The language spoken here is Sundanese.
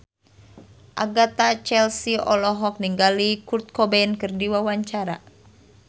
Agatha Chelsea olohok ningali Kurt Cobain keur diwawancara